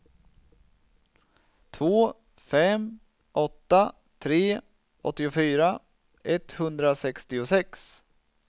två fem åtta tre åttiofyra etthundrasextiosex